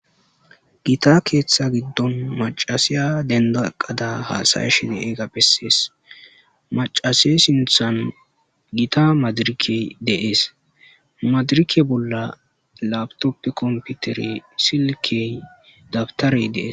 Gita keththa giddonni issi macashshiya denidda eqadda hasayashshe de'iyaga besees.macashsheyi sinththanni gita madirekkeyi de'ees.madirekke bolla lapitoppe kompitereyi silekeyi dabitareyi de'ees.